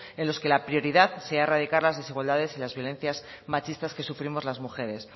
en los que la prioridad sea erradicar las desigualdades y las violencias machistas que sufrimos las mujeres